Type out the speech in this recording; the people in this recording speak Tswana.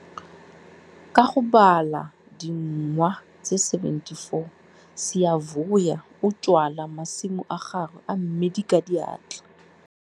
Ka go bala dingwa tse 74 Siyavuya o jwala masimo a gagwe a mmidi ka diatla.